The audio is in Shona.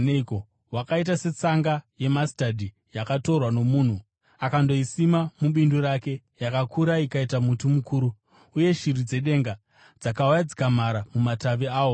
Hwakaita setsanga yemasitadhi, yakatorwa nomunhu akandoisima mubindu rake. Yakakura ikava muti mukuru, uye shiri dzedenga dzakauya dzikamhara mumatavi awo.”